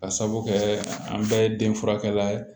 Ka sabu kɛ an bɛɛ ye den furakɛla ye